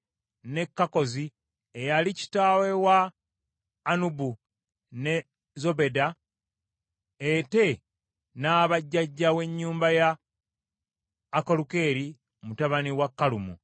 ne Kakkozi eyali kitaawe wa Anubu, ne Zobeba, ate n’aba jjajja w’ennyumba ya Akalukeri mutabani wa Kalumu.